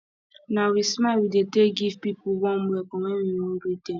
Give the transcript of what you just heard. na wit smile we dey take give pipo warm welcome wen we wan greet dem